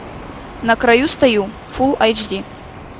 на краю стою фулл айч ди